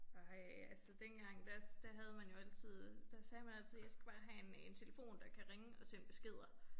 Ej altså dengang der der havde man jo altid der sagde man altid jeg skal bare have en en telefon der kan ringe og sende beskeder